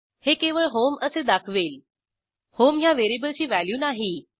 हे केवळ HOMEअसे दाखवेल होम ह्या व्हेरिएबलची व्हॅल्यू नाही